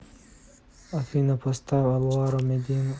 афина поставь алваро медина